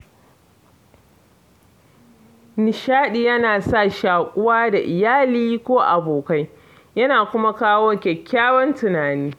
Nishadi ya na sa shaƙuwa da iyali ko abokai, ya na kuma kawo kyakkyawan tunani.